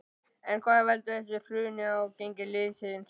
En hvað veldur þessu hruni á gengi liðsins?